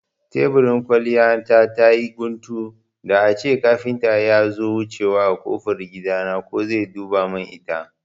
Teburin kwalliya ta tayi guntu, da ace kafinta yazo wucewa a kofar gidan nan ko zai duba mun ita